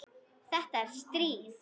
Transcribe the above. Þetta er stríð!